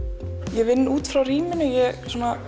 ég vinn út frá rýminu ég